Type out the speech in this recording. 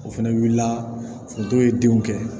O fɛnɛ wulila foto ye denw kɛ